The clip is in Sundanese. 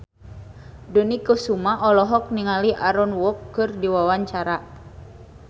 Dony Kesuma olohok ningali Aaron Kwok keur diwawancara